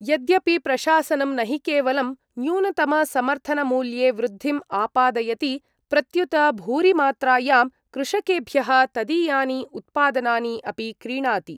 यद्यपि प्रशासनं न हि केवलं न्यूनतमसमर्थनमूल्ये वृद्धिम् आपादयति प्रत्युत भूरिमात्रायां कृषकेभ्यः तदीयानि उत्पादनानि अपि क्रीणाति।